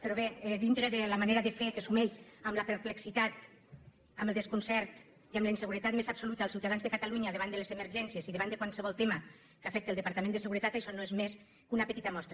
però bé dintre de la manera de fer que sumeix en la perplexitat en el desconcert i en la inseguretat més absoluta els ciutadans de catalunya davant de les emergències i davant de qualsevol tema que afecta el departament de seguretat això no és més que una petita mostra